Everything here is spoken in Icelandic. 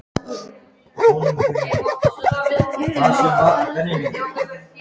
Erindi á þinginu voru gefin út í ráðstefnuriti.